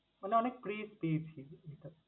মানে অনেক দিয়েছি।